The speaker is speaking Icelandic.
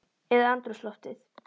Eða andrúmsloftið?